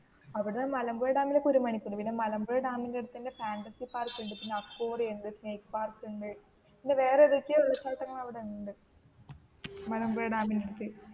അവിടെ മലമ്പുഴ ഡാമിലേക്ക് ഒരു മണിക്കൂർ പിന്നേ മലമ്പുഴ ഡാമിൻറെ അടുത്തു തന്നേ ഫാന്ടസി പാർക്ക് ഉണ്ട്, പിന്നേ അക്വിറിയം ഉണ്ട്, സ്നാക്ക് പാർക്ക് ഉണ്ട്, പിന്നേ വേറേ സ്ഥലങ്ങൾ ഒക്കേ അവിടെ ഉണ്ട് മലമ്പുഴ ഡാമിലേക്ക്